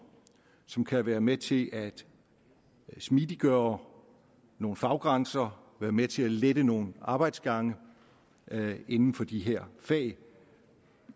som kan være med til at smidiggøre nogle faggrænser være med til at lette nogle arbejdsgange inden for de her fag